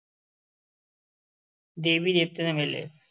ਦੇਵੀ ਦੇਵਤਿਆਂ ਦੇ ਮੇਲੇ।